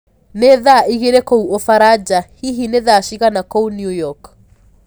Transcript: ni thaa ĩgĩrĩ kũũ ufaraja hĩhĩ ni thaa cĩĩgana kũũ new york